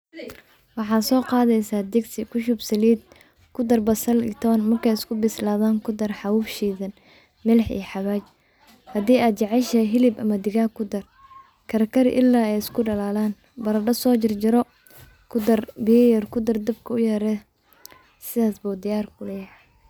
Waxa soqadeysa digsi, kuahub salid, kudaar basal iyo toon, markay iskubisladan kudar xaaw shidaan, milix iyo xawaaji, xadii aad jecedhaxay xilib ama digaag kudaar, karkarii ila ay iskudalalan, barado so jar jaro, kudaar biya yar kidaar, dabka uyaree, sidasbo diyar kulayax.